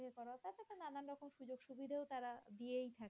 সুবিধা ও তারা দিয়েই থাকে।